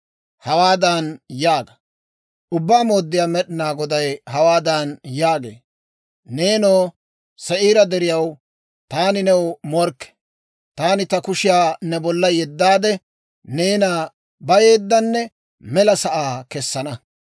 Hawaadan yaaga; ‹Ubbaa Mooddiyaa Med'inaa Goday hawaadan yaagee; Neenoo, Se'iira Deriyaw, taani new morkke; taani ta kushiyaa ne bolla yeddaade, neena bayeeddanne mela sa'aa kessana.